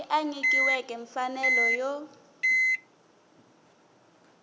loyi a nyikiweke mfanelo yo